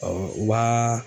Ɔ o b'aa